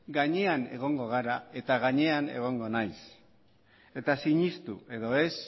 gainean egongo gara eta gainean egongo naiz eta sinestu edo ez